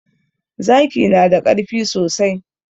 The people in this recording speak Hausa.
Zaki na da ƙarfi sosai.